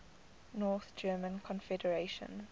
north german confederation